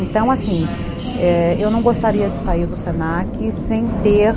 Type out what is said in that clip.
Então, assim, é, eu não gostaria de sair do se na que sem ter...